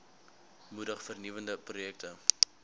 moedig vernuwende projekte